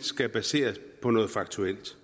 skal baseres på noget faktuelt